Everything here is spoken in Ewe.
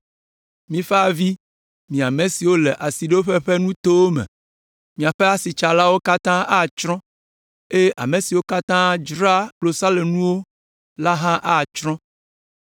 Mifa avi, mi ame siwo le asiɖoƒe ƒe nutowo me, miaƒe asitsalawo katã atsrɔ̃, eye ame siwo katã dzraa klosalonuwo la hã atsrɔ̃.